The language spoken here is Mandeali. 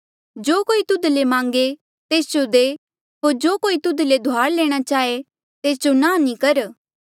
जो कोई तुध ले मांगे तेस जो दे होर जो कोई तुध ले धुआर लैणा चाहे तेस जो नांह नी कर